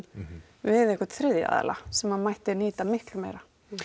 við einhvern þriðja aðila sem mætti nýta miklu meira